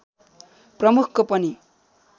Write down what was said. प्रमुखको पनि